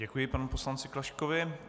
Děkuji panu poslanci Klaškovi.